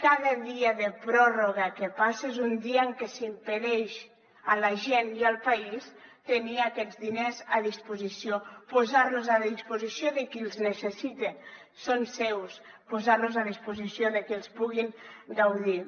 cada dia de pròrroga que passa és un dia en què s’impedeix a la gent i al país tenir aquests diners a disposició posarlos a disposició de qui els necessita són seus posarlos a disposició de qui els pugui gaudir